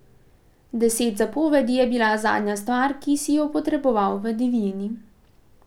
Deset zapovedi je bila zadnja stvar, ki si jo potreboval v divjini.